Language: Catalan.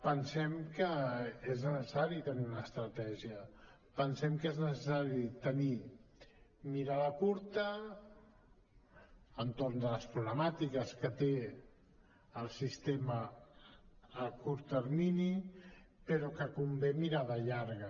pensem que és necessari tenir una estratègia pensem que és necessari tenir mirada curta entorn de les problemàtiques que té el sistema a curt termini però que convé mirada llarga